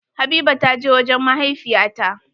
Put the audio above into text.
Habiba ta je wajen mahaifiya ta.